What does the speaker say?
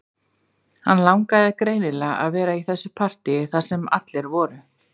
Hann langaði greinilega að vera í þessu partíi þar sem allir voru